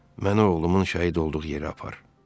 Məni oğlumun şəhid olduğu yerə apar.